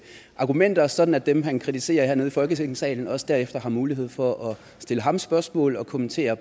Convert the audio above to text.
argumenter sådan at dem han kritiserer hernede i folketingssalen også derefter har mulighed for at stille ham spørgsmål og kommentere